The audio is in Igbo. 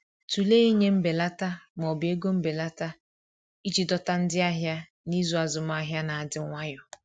Tụlee ịnye mbelata ma ọ bụ ego mbelata iji dọta ndị ahịa n’izu azụmahịa na-adị nwayọ.